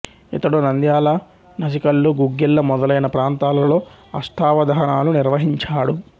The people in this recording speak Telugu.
ఇతడు నంద్యాల నసికల్లు గుగ్గిళ్ళ మొదలైన ప్రాంతాలలో అష్టావధానాలు నిర్వహించాడు